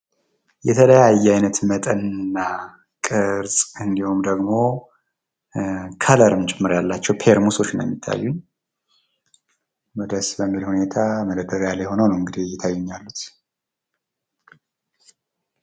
የተለያየ አይነት መጠንና ቅርፅ እንዲሁም ደሞ ከለርም ጭምር ያላቸው ፔርሙሶች ናቸው የሚታዩኝ። ደስ በሚል ሁኔታ መደርደርያ ላይ ሁነው ነው እንግዲህ እየታዩኝ ያሉት።